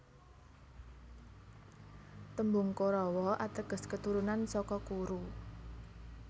Tembung Korawa ateges keturunan saka Kuru